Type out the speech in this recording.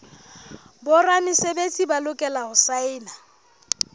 boramesebetsi ba lokela ho saena